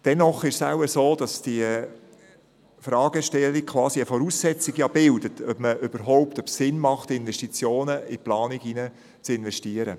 Dennoch ist es wohl so, dass diese Fragestellung eine Voraussetzung für die Frage ist, ob es überhaupt Sinn macht, in die Planung zu investieren.